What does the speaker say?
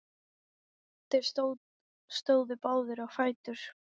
Þeir stóðu báðir á fætur.